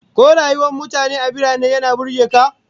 Ko rayuwar mutane a birane yana burge ka?